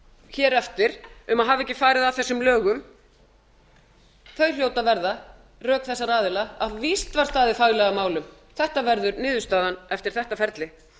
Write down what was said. hér eftir um að hafa ekki farið að þessum lögum þau hljóta að verða rök þessara aðila að víst var staðið faglega að málum þetta verður niðurstaðan eftir þetta ferli